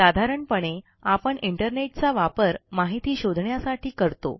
साधारणपणे आपण इंटरनेटचा वापर माहिती शोधण्यासाठी करतो